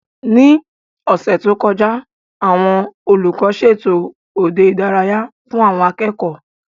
Ní ọ̀sẹ̀ tó kọjá, àwọn olùkọ́ ṣètò òde ìdárayá fún àwọn akẹ́kọ̀ọ́